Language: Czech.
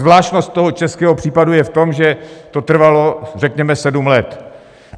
Zvláštnost toho českého případu je v tom, že to trvalo řekněme sedm let.